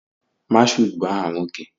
Mashood bu aha nwoke.